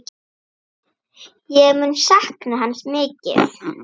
Ég mun sakna hans mikið.